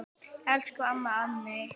Elsku amma Anney.